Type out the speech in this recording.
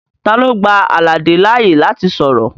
Talo gba Alade laaye lati sọrọ?